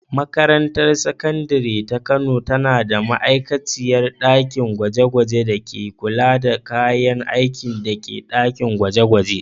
Makarantar Sakandare ta Kano tana da ma’aikaciyar ɗakin gwaje-gwaje da ke kula da kayan aikin ɗakin gwaje-gwaje.